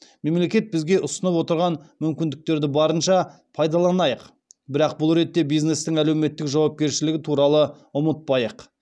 мемлекет бізге ұсынып отырған мүмкіндіктерді барынша пайдаланайық бірақ бұл ретте бизнестің әлеуметтік жауапкершілігі туралы ұмытпайық